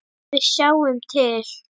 Við sjáum til.